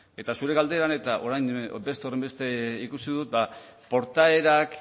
eta zure galderan eta orain beste horren beste ikusi dut portaerak